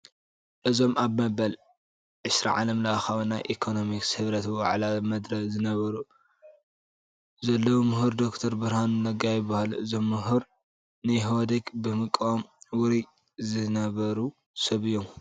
እዞም ኣብ መበል 20 ዓለምኻዊ ናይ ኢኮነሚክስ ህብረት ዋዕላ መደረ ዝገብሩ ዘለዉ ምሁር ዶክተር ብርሃኑ ነጋ ይበሃሉ፡፡ እዞም ምሁር ንኢህወዴግ ብምቅዋም ውሩይ ዝነበሩ ሰብ እዮም፡፡